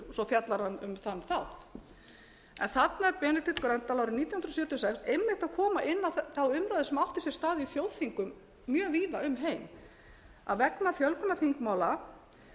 svo fjallar hann um þann þátt þarna er benedikt gröndal árið nítján hundruð sjötíu og sex einmitt að koma inn á þá umræðu sem átti sér stað í þjóðþingum mjög víð um heim að vegna fjölgunar þingmála